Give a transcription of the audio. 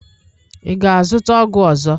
Ị ga-azụta ọgwụ ọzọ?